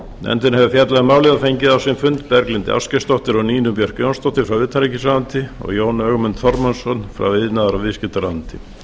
nefndin hefur fjallað um málið og fengið á sinn fund berglindi ásgeirsdóttur og nínu björk jónsdóttur frá utanríkisráðuneyti og jón ögmund þormóðsson frá iðnaðar og viðskiptaráðuneyti